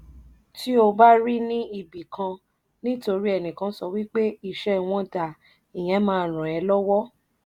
tí ó bá ra ni ibi kan ni torí vnikan sx wi pe ìṣv wọn da ìyẹn má rán ẹ lọ́wọ́.